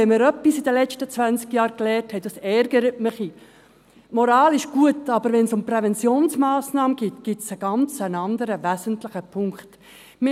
Wenn wir in den letzten zwanzig Jahren etwas gelernt haben – das ärgert mich ein wenig –, dann ist es das, dass Moral zwar gut ist, es aber, wenn es um Präventionsmassnahmen geht, einen ganz anderen, wesentlichen Punkt gibt.